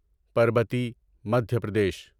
Parbati Madhya Pradesh